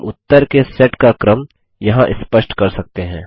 हम उत्तर के सेट का क्रम यहाँ स्पष्ट कर सकते हैं